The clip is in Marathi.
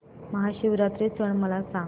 महाशिवरात्री सण मला सांग